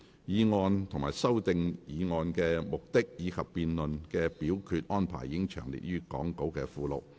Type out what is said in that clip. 議案及修訂議案的目的，以及辯論及表決安排已詳列於講稿附錄。